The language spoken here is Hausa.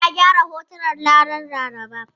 Ya gyara hotunan ranar Laraba.